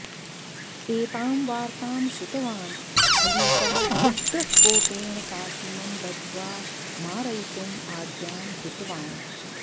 एतां वार्तां श्रुतवान् खलीफः उग्रकोपेण कासिमं बद्ध्वा मारयितुं आज्ञां कृतवान्